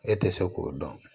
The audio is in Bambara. E tɛ se k'o dɔn